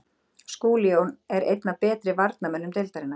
Skúli Jón er einn af betri varnarmönnum deildarinnar,